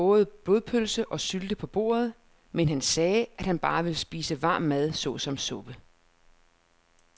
Der var både blodpølse og sylte på bordet, men han sagde, at han bare ville spise varm mad såsom suppe.